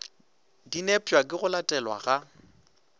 dinepša ke go latelelwa ga